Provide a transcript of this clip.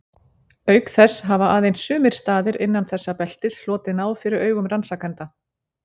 Auk þess hafa aðeins sumir staðir innan þessa beltis hlotið náð fyrir augum rannsakenda.